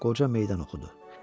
Qoca meydan oxudu.